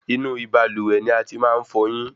Inú ibalúwẹ́ ní a tí màá n fọyín